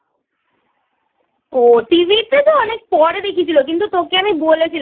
ও TV তে অনেক পরে দেখিয়েছিল কিন্তু তোকে আমি বলেছিলাম।